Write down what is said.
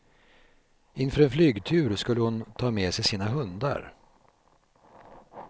Inför en flygtur skulle hon ta med sig sina hundar.